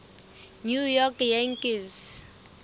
new york yankees